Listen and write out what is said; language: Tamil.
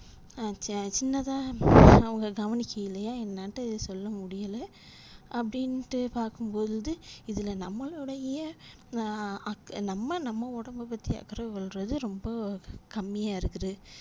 ஆஹ் சின்னதா அவங்க கவனிக்கலையா என்னனுட்டு சொல்ல முடியல அப்படினுட்டு பாக்கும் போது இதுல நம்மலோடைய ஆஹ் நம்ம நம்ம உடம்ப பத்தி அக்கறை கொள்றது ரொம்போ கம்மியா இருக்குது